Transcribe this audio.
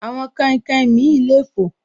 Àwọn kainkain mi le fò